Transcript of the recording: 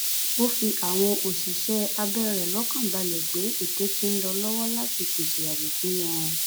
ó fi àwọn òṣìṣẹ abẹ rẹ lọkàn balẹ pé ètò ti ń lọ lọwọ láti pèsè ààbò fún wọn